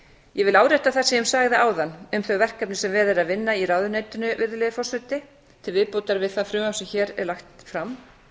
árétta það sem ég sagði áðan um þau verkefni sem verið er að vinna í ráðuneytinu virðulegi forseti til viðbótar við það frumvarp sem hér er lagt fram